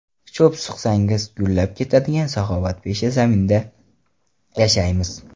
Cho‘p suqsangiz, gullab ketadigan saxovatpesha zaminda yashaymiz.